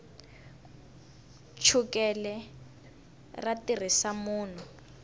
chukele ra tiyisa munhu